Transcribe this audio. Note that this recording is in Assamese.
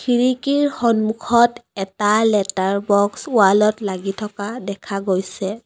খিৰিকীৰ সন্মুখত এটা লেটাৰ বক্স ৱাল ত লাগি থকা দেখা গৈছে।